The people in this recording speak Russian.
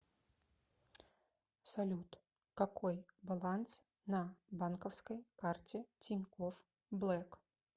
салют какой баланс на банковской карте тинькофф блэк